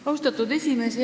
Austatud esimees!